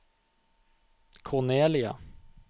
Cornelia